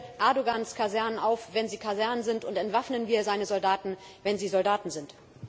Räumen wir Erdoğans Kasernen auf, wenn sie Kasernen sind, und entwaffnen wir seine Soldaten, wenn sie Soldaten sind!